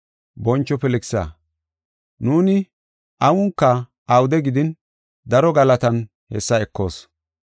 Boncho Filkisa, nuuni awunka awude gidin daro galatan hessa ekoos.